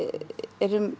erum